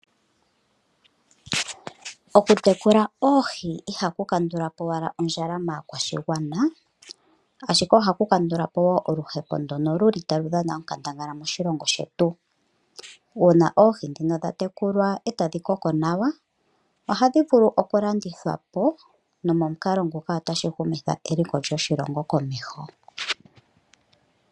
Okutekula oohi ihaku kandula po owala ondjala maakwashigwana, ashike ohaku kandula po wo oluhepo ndono lu li talu dhana onkandangala moshilongo shetu. Uuna oohi ndhino dha tekulwa e tadhi koko nawa ohadhi vulu okulandithwa po nomukalo nguka otashi humitha eliko lyoshilongo komeho.